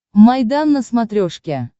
майдан на смотрешке